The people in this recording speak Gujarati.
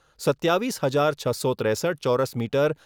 સત્યાવીસ હજાર છસો ત્રેસઠ ચોરસ મીટર